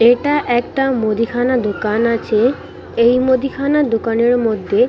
এটা একটা মুদিখানা দোকান আছে এই মুদিখানা দোকানের মধ্যে--